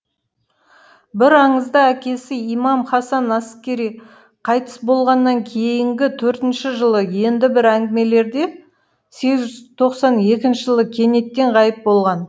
бір аңызда әкесі имам хасан аскири қайтыс болғаннан кейінгі төртінші жылы енді бір әңгімелерде сегіз жүз тоқсан екінші жылы кенеттен ғайып болған